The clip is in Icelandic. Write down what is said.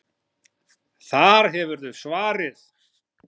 Þar hefurðu svarið.